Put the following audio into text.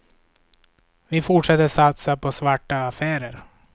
Vi fortsätter satsa på svarta affärer.